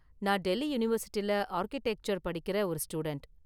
நான் டெல்லி யூனிவர்சிட்டில ஆர்க்கிடெக்சர் படிக்கிற ஒரு ஸ்டூடண்ட்.